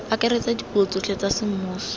akaretsa dipuo tsotlhe tsa semmuso